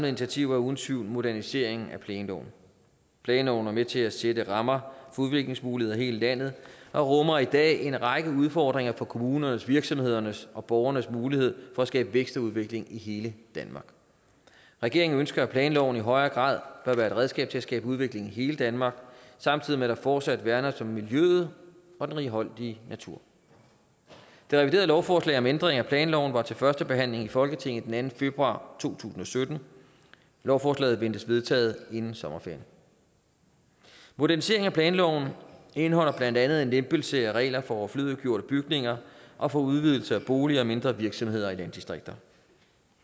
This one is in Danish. initiativer er uden tvivl moderniseringen af planloven planloven er med til at sætte rammer for udviklingsmuligheder i hele landet og rummer i dag en række udfordringer for kommunernes virksomhedernes og borgernes mulighed for at skabe vækst og udvikling i hele danmark regeringen ønsker at planloven i høj grad bør være et redskab til at skabe udvikling i hele danmark samtidig med at der fortsat værnes om miljøet og den righoldige natur det reviderede lovforslag om en ændring af planloven var til førstebehandling i folketinget den anden februar to tusind og sytten lovforslaget ventes vedtaget inden sommerferien moderniseringen af planloven indeholder blandt andet en lempelse af regler for overflødiggjorte bygninger og for udvidelse af boliger og mindre virksomheder i landdistrikter